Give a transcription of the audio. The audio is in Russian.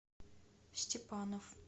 степанов